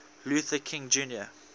luther king jr